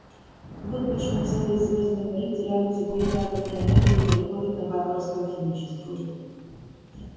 вот почему целые звёздные миры теряют секрет атомной энергии и переходят на варварскую химическую